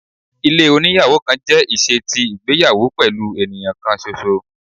Ilé oníyàwò kan jẹ iṣe ti igbeyawo pẹlu eniyan kan ṣoṣo